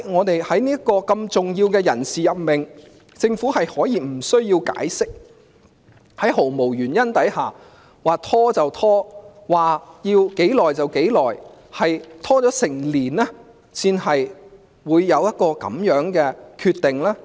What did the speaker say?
為何如此重要的人事任命，政府可以無須解釋，在毫無原因之下任意拖延，拖延了整整一年才有一個這樣的決定呢？